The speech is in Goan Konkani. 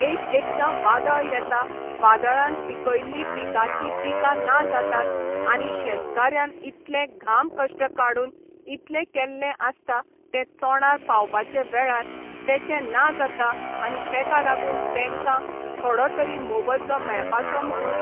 एक एकदा वादळ येता वादळान पिकयल्लीं पिकांची पिकां ना जातात आनी शेतकाऱ्यान इतले घाम कश्ट काडून इतले केल्लें आसता ते तोंडार पावपाचे वेळार तेचें ना जाता आनी तेका लागून तेंका थोडो तरी मोबदलो मेळपाचो म्हणून